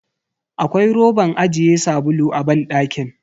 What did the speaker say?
Akwai roban ajiye sabulu a banɗakin.